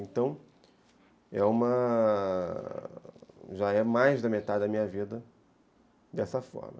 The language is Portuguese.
Então, já é uma... já é mais da metade da minha vida dessa forma.